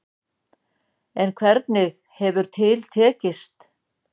En hvernig hefur til tekist.